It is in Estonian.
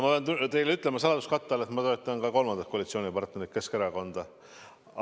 Ma pean teile ütlema saladuskatte all, et ma toetan ka kolmandat koalitsioonipartnerit, Keskerakonda.